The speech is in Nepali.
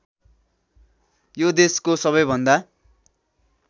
यो देशको सबैभन्दा